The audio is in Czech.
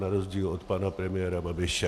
Na rozdíl od pana premiéra Babiše.